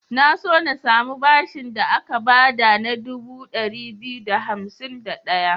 Na so na samu bashin da aka ba da na dubu ɗari biyu da hansim da ɗaya.